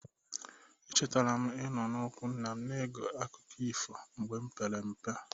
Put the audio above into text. Echetara m ịno ụkwụ nna na-ege akụkọ ifo mgbe pere mpe.